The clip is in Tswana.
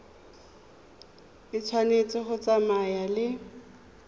e tshwanetse go tsamaya le